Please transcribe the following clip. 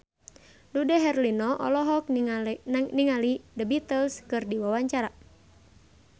Dude Herlino olohok ningali The Beatles keur diwawancara